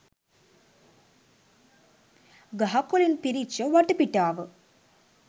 ගහකොලින් පිරිච්ච වටපිටාව